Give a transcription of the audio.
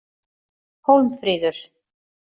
Hólmfríður